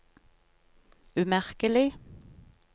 umerkelig